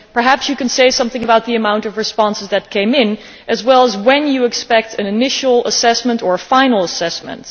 Perhaps you could also say something about the amount of responses that came in, as well as when you expect an initial assessment or final assessment.